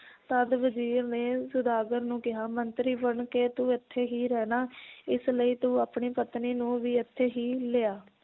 ਤਦ ਵਜ਼ੀਰ ਨੇ ਸੌਦਾਗਰ ਨੂੰ ਕਿਹਾ ਮੰਤਰੀ ਬਣ ਕੇ ਤੂੰ ਇਥੇ ਹੀ ਰਹਿਣਾ ਇਸ ਲਈ ਤੂੰ ਆਪਣੀ ਪਤਨੀ ਨੂੰ ਵੀ ਇਥੇ ਹੀ ਲਿਆ